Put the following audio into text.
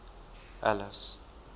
alice